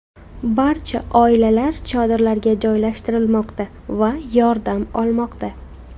Barcha oilalar chodirlarga joylashtirilmoqda va yordam olmoqda.